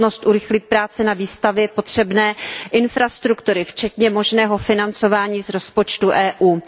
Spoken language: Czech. nutnost urychlit práce na výstavbě potřebné infrastruktury, včetně možného financování z rozpočtu EU.